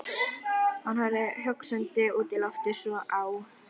Hann horfði hugsandi út í loftið, svo á